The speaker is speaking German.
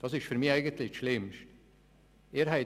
Das ist für mich das Schlimmste.